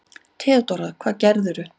THEODÓRA: Hvað gerðirðu?